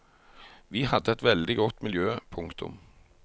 Vi hadde et veldig godt miljø. punktum